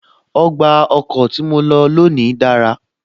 Ọgbà ọkọ̀ tí mo lọ lónìí dára